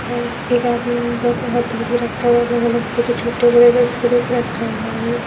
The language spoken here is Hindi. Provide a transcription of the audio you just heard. और बहुत से हथ धूले रखा हुआ है और अलग अलग दे के छोटे-बड़े से स्कूप रखा हुआ है।